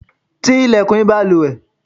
tí ilẹ̀kùn ìbalùwẹ̀!